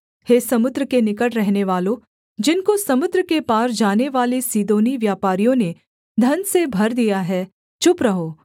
हे समुद्र के निकट रहनेवालों जिनको समुद्र के पार जानेवाले सीदोनी व्यापारियों ने धन से भर दिया है चुप रहो